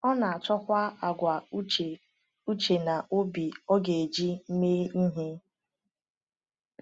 Ọ na-achọkwa àgwà uche uche na obi ọ ga-eji mee ihe.